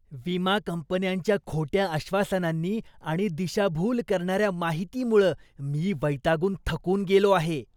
विमा कंपनींच्या खोट्या आश्वासनांनी आणि दिशाभूल करणाऱ्या माहितीमुळं मी वैतागून थकून गेलो आहे.